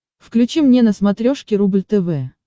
включи мне на смотрешке рубль тв